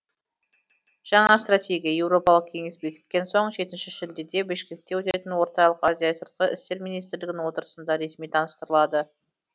жаңа стратегия еуропалық кеңес бекіткен соң жетінші шілдеде бішкекте өтетін орталық азия сыртқы істер министрлерінің отырысында ресми таныстырылады